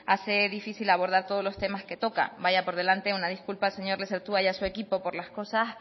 hace difícil abordar todos los temas que toca vaya por delante una disculpa señor lezertua y a su equipo por las cosas